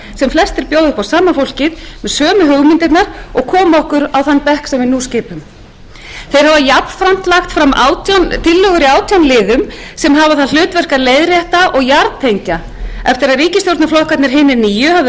sem flestir bjóða upp á sama fólkið með sömu hugmyndirnar og komu okkur á þann bekk sem við nú skipum þeir hafa jafnframt lagt fram tillögur í átján liðum sem hafa það hlutverk að leiðrétta og jarðtengja eftir að ríkisstjórnarflokkarnir hinir nýju höfðu